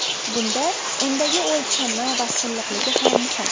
Bunda undagi o‘lchami va silliqligi ham muhim.